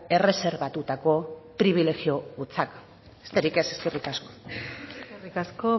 erreserbatutako pribilegio hutsak besterik ez eskerrik asko eskerrik asko